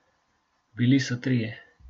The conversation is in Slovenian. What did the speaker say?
Bili so trije.